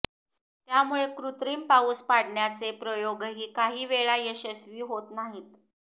त्यामुळे कृत्रिम पाऊस पाडण्याचे प्रयोगही काही वेळा यशस्वी होत नाहीत